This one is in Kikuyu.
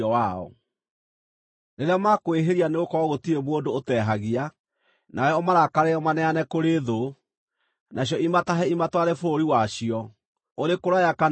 “Rĩrĩa makwĩhĩria, nĩgũkorwo gũtirĩ mũndũ ũtehagia, nawe ũmarakarĩre ũmaneane kũrĩ thũ, nacio imatahe imatware bũrũri wacio, ũrĩ kũraya kana ũrĩ gũkuhĩ;